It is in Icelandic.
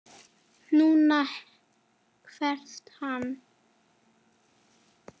NÚNA! hvæsti hann.